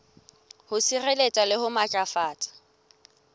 ho sireletsa le ho matlafatsa